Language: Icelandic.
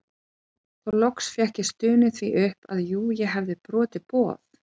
Þá loks fékk ég stunið því upp að jú ég hefði brotið boð